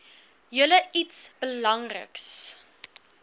julle iets belangriks